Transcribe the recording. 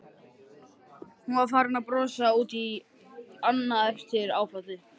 Hún var farin að brosa út í annað eftir áfallið.